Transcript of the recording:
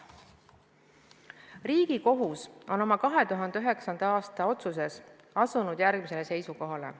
Riigikohus on oma 2009. aasta otsuses asunud järgmisele seisukohale.